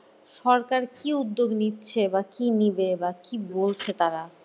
সরকার কী উদ্যোগ নিচ্ছে বা কী নিবে বা কী বলছে তারা